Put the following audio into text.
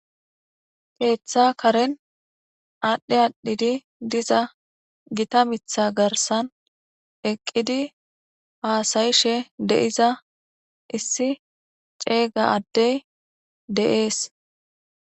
Keeththa karen adhi adhi diza gita miththa garissan eqidi hasyishe de"iza isi cega adey des